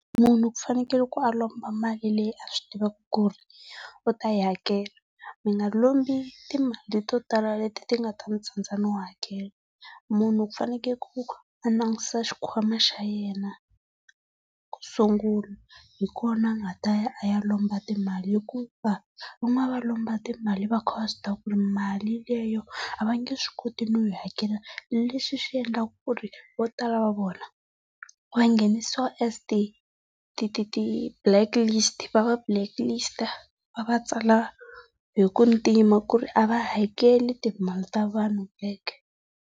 Munhu ku fanekele ku a lomba mali leyi a swi tivaka ku ri u ta yi hakela. Mi nga lombi timali le to tala leti nga ta mi tsandza no hakela. Munhu ku fanekele ku a langutisa xikwama xa yena kusungula, hi kona a nga ta ya a ya lomba timali hikuva van'wana va lomba timali va kha va swi tiva ku ri mali leyo a vange swi koti no yi hakela lexi xi endlaka ku ri vo tala va vona va nghenisiwa e ti ti ti blacklist, va va blacklist, va va tsala hi ku ntima ku ri a va hakeli timali ta vanhu back.